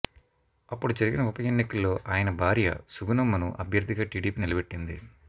అప్పుడు జరిగిన ఉప ఎన్నికల్లో ఆయన భార్య సుగుణమ్మను అభ్యర్థిగా టీడీపీ నిలబెట్టింది